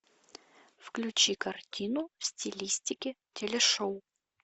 включи картину в стилистике телешоу